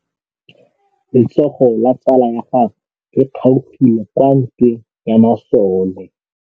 Letsôgô la tsala ya gagwe le kgaogile kwa ntweng ya masole.